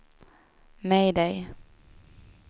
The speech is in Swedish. mayday